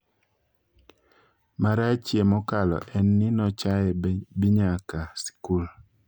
Marachie mokalo en ni nochae be nyaka sikul.